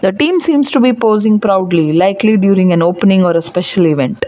The team seems to be posing proudly likely during an opening or a special event.